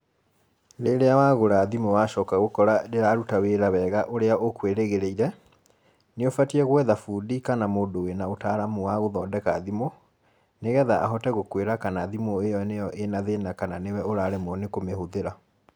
Rĩrĩa wagũra thimũ wacoka gũkora ndĩraruta wĩra wega ũrĩa ũkwĩrĩgĩrĩire, nĩũbatiĩ gwetha bundi kana mũndũ wĩna ũtaaramu wa gũthondeka thimũ, nĩgetha ahote gũkwĩra kana thimũ ĩyo nĩyo ĩna thĩna kana nĩwe ũraremwo nĩ kũmĩhũthĩra.